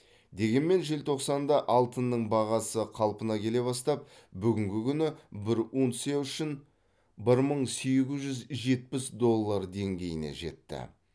дегенмен желтоқсанда алтынның бағасы қалпына келе бастап бүгінгі күні бір унция үшін бір мың сегіз жүз жетпіс доллар деңгейіне жетті